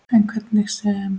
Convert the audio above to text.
En hvernig sem